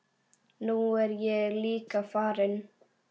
Nú er ég líka farinn.